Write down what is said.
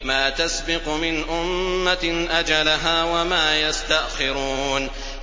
مَا تَسْبِقُ مِنْ أُمَّةٍ أَجَلَهَا وَمَا يَسْتَأْخِرُونَ